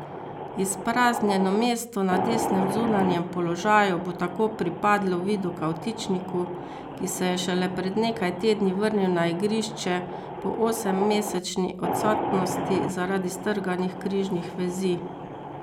Izpraznjeno mesto na desnem zunanjem položaju bo tako pripadlo Vidu Kavtičniku, ki se je šele pred nekaj tedni vrnil na igrišče po osemmesečni odsotnosti zaradi strganih križnih vezi.